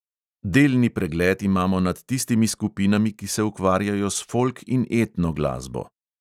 Delni pregled imamo nad tistimi skupinami, ki se ukvarjajo s folk in etno glasbo.